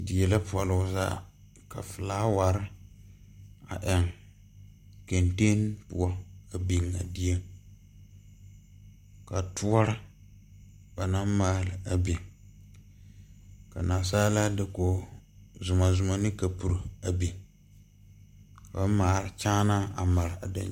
Die la pɔle o zaa ka felaaware a eŋ kenten poɔ a biŋ a dieŋ ka toɔre ba naŋ maale a biŋ ka nansaalaa dakogi zomɔzomɔ biŋ ane kapiri a maale kyaanaa mare a daŋkyini.